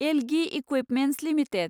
Elgi equipments limited